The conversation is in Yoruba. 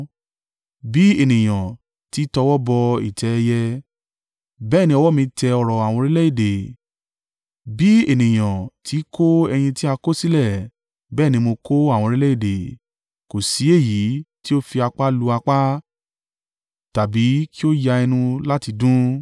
Bí ènìyàn ti í tọwọ́ bọ ìtẹ́ ẹyẹ, bẹ́ẹ̀ ni ọwọ́ mi tẹ ọrọ̀ àwọn orílẹ̀-èdè. Bí ènìyàn ti í kó ẹyin tí a kọ̀sílẹ̀, bẹ́ẹ̀ ni mo kó àwọn orílẹ̀-èdè kò sí èyí tí ó fi apá lu apá, tàbí kí ó ya ẹnu láti dún.’ ”